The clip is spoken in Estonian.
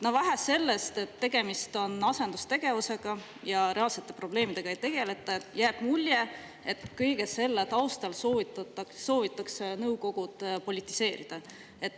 Vähe sellest, et tegemist on asendustegevusega ja reaalsete probleemidega ei tegeleta, jääb ka mulje, et kõige selle taustal soovitakse nõukogud politiseerida.